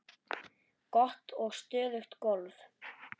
Gott og stöðugt golf!